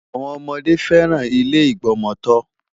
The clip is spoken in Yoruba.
Àwọn ọmọdé fẹ́ràn ilé ìgbọmọtọ́.